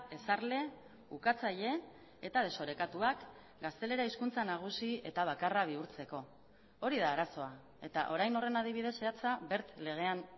ezarle ukatzaile eta desorekatuak gaztelera hizkuntza nagusi eta bakarra bihurtzeko hori da arazoa eta orain horren adibide zehatza legean